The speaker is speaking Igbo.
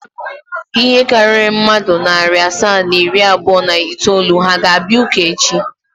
Ihe karịrị mmadụ narị asaa na iri abụọ na itoolu ha ga-abịa ụka echi?